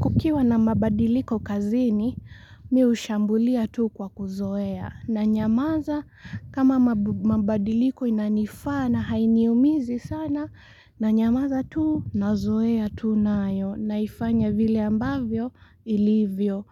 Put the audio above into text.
Kukiwa na mabadiliko kazini mimi hushambulia tu kwa kuzoea. Na nyamaza kama mabadiliko inanifaa na hainiumizi sana nanyamaza tu, nazoea tu nayo naifanya vile ambavyo ilivyo